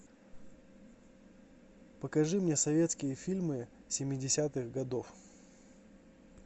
покажи мне советские фильмы семидесятых годов